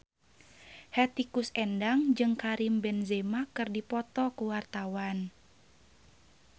Hetty Koes Endang jeung Karim Benzema keur dipoto ku wartawan